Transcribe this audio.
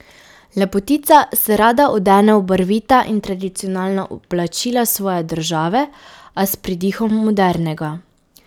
Lepotica se rada odene v barvita tradicionalna oblačila svoje države, a s pridihom modernega.